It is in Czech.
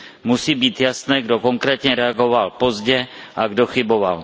Musí být jasné, kdo konkrétně reagoval pozdě a kdo chyboval.